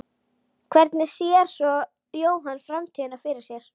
Hvernig sér svo Jóhann framtíðina fyrir sér?